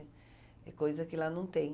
É coisa que lá não tem.